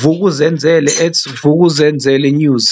Vuk'uzenzele@VukuzenzeleNews.